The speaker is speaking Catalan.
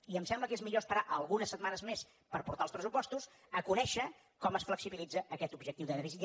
i em sembla que és millor esperar algunes setmanes més per portar els pressupostos a conèixer com es flexibilitza aquest objectiu de dèficit